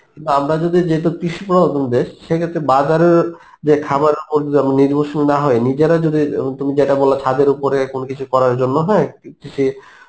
আমরা যদি যেহেতু কৃষি প্রধান দেশ সেইক্ষেত্রে বাজারের যে খাবারের উপর যদি আমি নির্ভরশীল না হয়ে নিজেরা যদি উম তুমি যেটা বললে ছাদের উপর কোন কিছু করার জন্য হ্যাঁ কৃষি